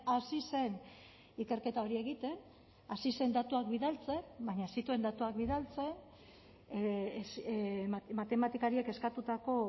hasi zen ikerketa hori egiten hasi zen datuak bidaltzen baina ez zituen datuak bidaltzen matematikariek eskatutako